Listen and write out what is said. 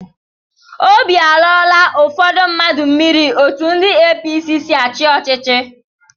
Óbị alọọla ụfọdụ mmadụ mmiri etụ ndị APC sị achị ọchịchị.